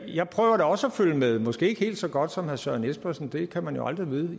jeg prøver da også at følge med i måske ikke helt så godt som herre søren espersen det kan man jo aldrig vide